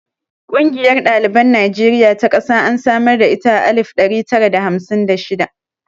Ƙungiyar ɗaliban Najeriya ta ƙasa an samar da ita a alif ɗari tara da hamsin da shida.